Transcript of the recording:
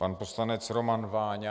Pan poslanec Roman Váňa.